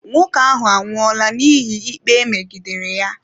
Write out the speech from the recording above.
Nwoke ahụ anwụola n'ihi ikpe megidere ya.